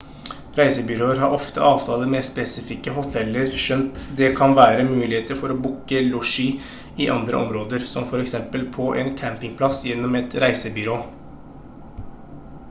reisebyråer har ofte avtaler med spesifikke hoteller skjønt det kan være muligheter for å booke losji i andre områder som for eksempel på en campingplass gjennom et reisebyrå